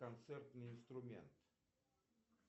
концертный инструмент